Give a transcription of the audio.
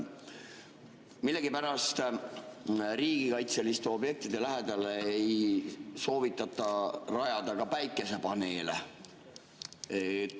Millegipärast riigikaitseliste objektide lähedale ei soovitata rajada ka päikesepaneele.